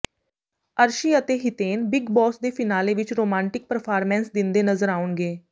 ਅਰਸ਼ੀ ਅਤੇ Hiten big boss ਦੇ finale ਵਿੱਚ ਰੋਮਾਂਟਿਕ ਪਰਫਾਰਮੈਂਸ ਦਿੰਦੇ ਨਜ਼ਰ ਆਉਣਗੇ